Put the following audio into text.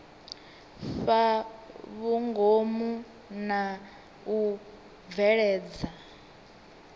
fhaa vhungomu na u bveledza